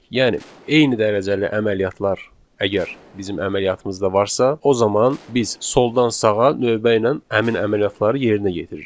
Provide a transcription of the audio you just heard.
Yəni eyni dərəcəli əməliyyatlar əgər bizim əməliyyatımızda varsa, o zaman biz soldan sağa növbə ilə həmin əməliyyatları yerinə yetiririk.